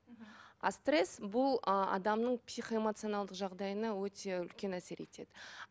а стресс бұл ы адамның психоэмоционалдық жағдайына өте үлкен әсер етеді